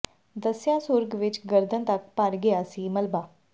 ਦੱਸਿਆ ਸੁਰਗ ਵਿੱਚ ਗਰਦਨ ਤੱਕ ਭਰ ਗਿਆ ਸੀ ਮਲਬਾ